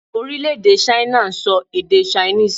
Orílèdè 'China' n so èdè 'Chinese'